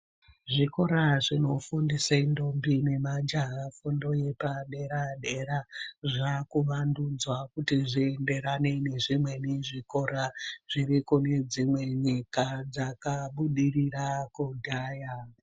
Zvikora zvinofundise ntombi nemajaya fundo yepadera dera zvakuvandudzwa zvienderane nezvimweni zvikora zviri kune dzimwe nyika dzakabudirira kudhaya.